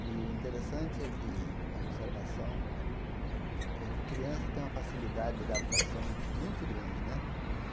E o interessante é que a observação é que criança tem uma facilidade de adaptação muito grande, né?